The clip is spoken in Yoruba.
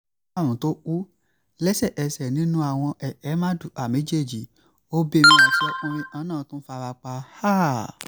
àwọn kẹ̀kẹ́ mardukà méjèèjì obìnrin àti ọkùnrin kan náà tún fara pa um